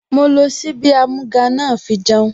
Mo lo ṣíbí amúga náà fi jẹun